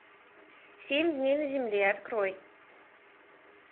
семь дней на земле открой